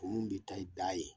O mun de ta ye da ye